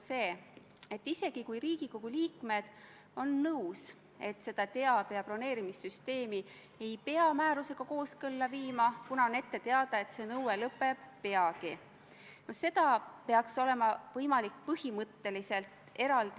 Kui te olete kursis, siis kuidas te saate heaks kiita sellise režiimi toetamist, ja kui te ei ole kursis, siis miks te olete tulnud siia saali, olles ettevalmistamata?